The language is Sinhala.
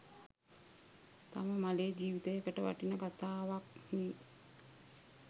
තම මලේ ජිවිතයකට වටින කතාවක්නේ.